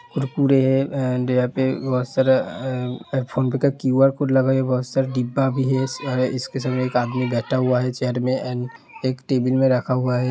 एक फोनपे का QR code लगा हुआ। बहुत सारे डिब्बा भी है और इसके सामने आदमी भी बैठा हुआ है। चेयर मे टिफिन में रखा हुआ है।